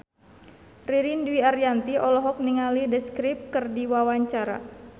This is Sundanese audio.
Ririn Dwi Ariyanti olohok ningali The Script keur diwawancara